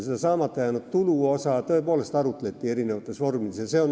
Saamata jäänud tuluosa üle tõepoolest arutleti.